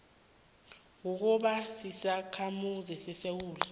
kukuba sisakhamuzi sesewula